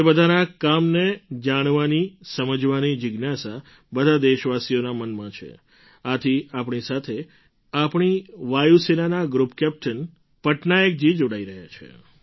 તે બધાંના કામને જાણવાની સમજવાની જિજ્ઞાસા બધા દેશવાસીઓના મનમાં છે આથી આપણી સાથે આપણી વાયુ સેનાના ગ્રૂપ કેપ્ટન પટનાયકજી જોડાઈ રહ્યા છે